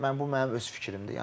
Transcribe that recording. Mən bu mənim öz fikrimdir.